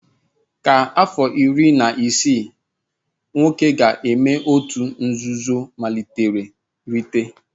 Kwa afọ iri na ise nwoke ga-eme òtù nzuzo mmalite rite!